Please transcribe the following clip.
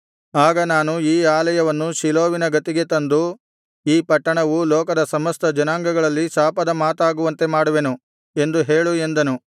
ಆಗ ನಾನು ಈ ಆಲಯವನ್ನು ಶಿಲೋವಿನ ಗತಿಗೆ ತಂದು ಈ ಪಟ್ಟಣವು ಲೋಕದ ಸಮಸ್ತ ಜನಾಂಗಗಳಲ್ಲಿ ಶಾಪದ ಮಾತಾಗುವಂತೆ ಮಾಡುವೆನು ಎಂದು ಹೇಳು ಎಂದನು